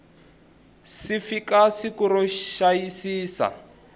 si fika siku ro xiyisisa